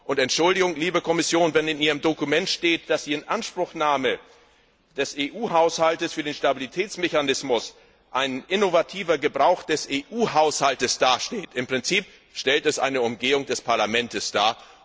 Und Entschuldigung, liebe Kommission wenn in Ihrem Dokument steht, dass die Inanspruchnahme des EU Haushalts für den Stabilitätsmechanismus einen innovativen Gebrauch des EU Haushalts darstellt, sage ich, im Prinzip stellt es eine Umgehung des Parlaments dar.